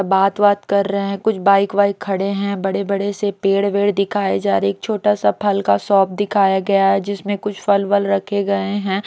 बात-वात कर रहे हैं कुछ बाइक वाइक खड़े हैं बड़े-बड़े से पेड़-वेड़ दिखाए जा रहे हैं एक छोटा सा फल का शॉप दिखाया गया है जिसमें कुछ फलवल रखे गए हैं।